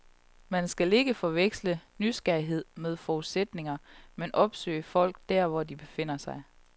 Man skal ikke forveksle nysgerrighed med forudsætninger, men opsøge folk der, hvor de befinder sig.